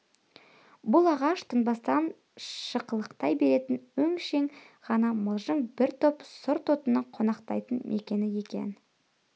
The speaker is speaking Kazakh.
бұл ағаш тынбастан шықылықтай беретін өңшең ғана мылжың бір топ сұр тотының қонақтайтын мекені екен